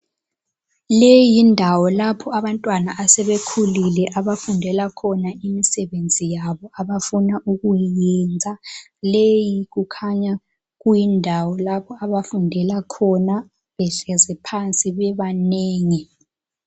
Leyi yindawo lapho abantwana asebekhulile abafundela khona imisebenzi yabo abafuna ukuyiyenza. Leyi kukhanya kuyindawo abafundela khona behlezi phansi bebanengi.